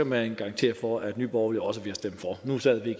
man garantere for at nye borgerlige også vil stemme for nu sad vi